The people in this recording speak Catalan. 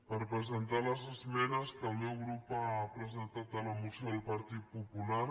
per presentar les esmenes que el meu grup ha presentat a la moció del partit popular